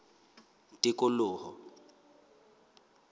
tikoloho